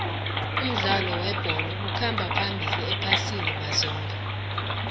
umdlalo webholo ukhamba phambili iphasi mazombe